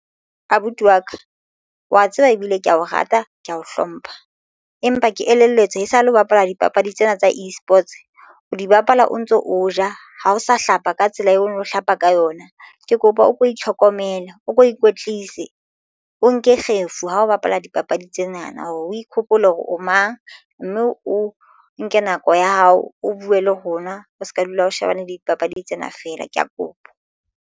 Abuti wa ka wa tseba ebile ke ya o rata ke ya o hlompha empa ke elelletswe esale o bapala dipapadi tsena tsa eSports o di bapala o ntso o ja ha o sa hlapa ka tsela eo hlapa ka yona ke kopa o ko itlhokomele o ko ikwetlise o nke kgefu ha o bapala dipapadi tsena na hore o ikgopole hore o mang mme o nke nako ya hao o buwe le ho nwa o se ka dula o shebane le dipapadi tsena fela ke ya kopa.